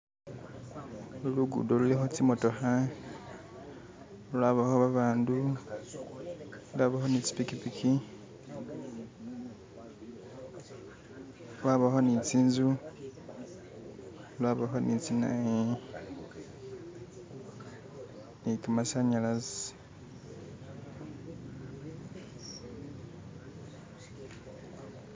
ulu lugudo luliho tsimotoha lwabaho babandu lwabaho nitsi pikipiki lwabaho nitsinzu lwabaho nitsinayu nikamasanyalazi